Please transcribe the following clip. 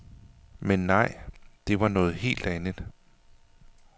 Men nej, det var noget helt andet.